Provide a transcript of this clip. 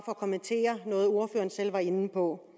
at kommentere noget af det ordføreren selv var inde på